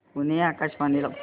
पुणे आकाशवाणीला फोन कर